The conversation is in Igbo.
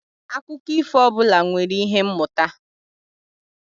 Akụkọ ifo ọbụla nwere ihe mmụta